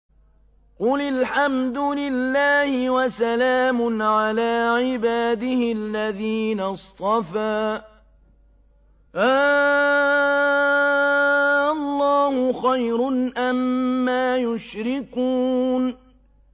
قُلِ الْحَمْدُ لِلَّهِ وَسَلَامٌ عَلَىٰ عِبَادِهِ الَّذِينَ اصْطَفَىٰ ۗ آللَّهُ خَيْرٌ أَمَّا يُشْرِكُونَ